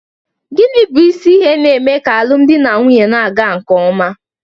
Gịnị bụ isi ihe na-eme ka alụmdi na nwunye na-aga nke ọma?